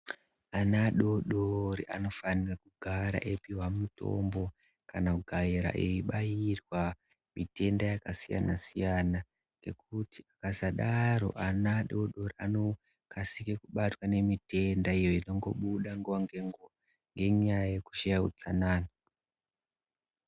Ana adodori anofanira kugara eipiwa mitombo kana kugara eibairwa nhunda yakasiyana-siyana ngekuti akasadaro ana adodori anokasike kubatwa ngemitenda iyo inongobude nguwa ngenguwa ngenyaya yekushaye utsanana.